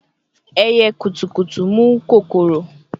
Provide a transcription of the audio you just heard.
Ẹyẹ kutukutu mu kokoro